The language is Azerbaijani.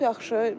Çox yaxşı.